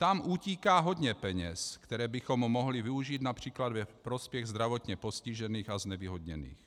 Tam utíká hodně peněz, které bychom mohli využít například ve prospěch zdravotně postižených a znevýhodněných.